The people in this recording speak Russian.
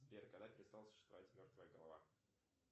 сбер когда перестала существовать мертвая голова